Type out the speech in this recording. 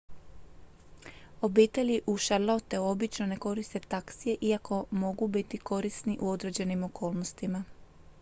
obitelji u charlotteu obično ne koriste taksije iako mogu biti korisni u određenim okolnostima